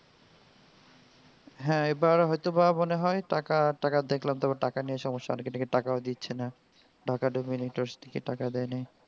হ্যা এইবার হয় তো বা মনে হয় টাকা আর টাকার দেখলাম তো টাকা নিয়ে সমস্যা আর এদিকে টাকাও দিচ্ছে না. টাকা টাকা দেয় নাই.